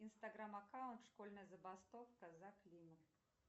инстаграм аккаунт школьная забастовка за климат